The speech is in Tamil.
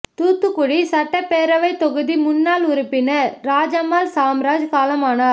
தூத்துக்குடி சட்டப்பேரவைத் தொகுதி முன்னாள் உறுப்பினா் ராஜம்மாள் சாம்ராஜ் காலமானாா்